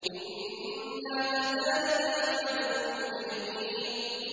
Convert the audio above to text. إِنَّا كَذَٰلِكَ نَفْعَلُ بِالْمُجْرِمِينَ